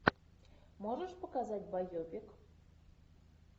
можешь показать байопик